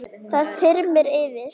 Það þyrmir yfir.